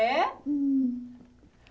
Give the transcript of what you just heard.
É?